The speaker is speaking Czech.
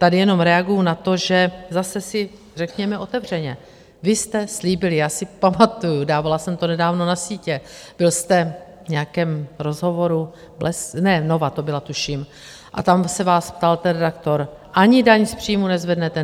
Tady jenom reaguji na to, že zase si řekněme otevřeně, vy jste slíbili - já si pamatuji, dávala jsem to nedávno na sítě, byl jste v nějakém rozhovoru, Nova to byla, tuším - a tam se vás ptal ten redaktor: Ani daň z příjmů nezvednete?